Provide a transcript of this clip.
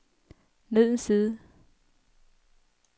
ned en side